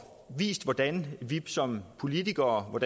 vist hvordan vi som politikere og